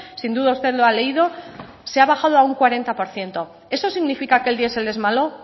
sin duda usted lo ha leído se ha bajado a un cuarenta por ciento eso significa que el diesel es malo